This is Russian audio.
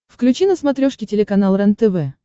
включи на смотрешке телеканал рентв